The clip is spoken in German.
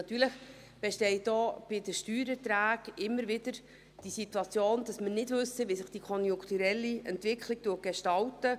Natürlich besteht auch bei den Steuererträgen immer wieder die Situation, dass wir nicht wissen, wie sich die konjunkturelle Entwicklung gestaltet.